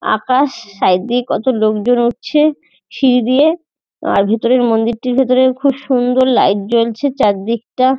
আকাশ side দিয়ে কতো লোকজন উঠছে সিঁড়ি দিয়ে। ভিতরে মন্দিরটির ভিতরে খুব সুন্দর লাইট জ্বলছে চারদিকটা।